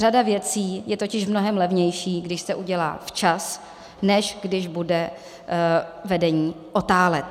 Řada věcí je totiž mnohem levnějších, když se udělají včas, než když bude vedení otálet.